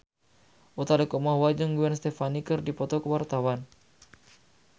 Utha Likumahua jeung Gwen Stefani keur dipoto ku wartawan